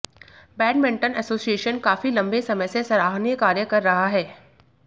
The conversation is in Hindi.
बैडमिंटन एसोसिएशन काफी लंबे समय से सराहनीय कार्य कर रहा है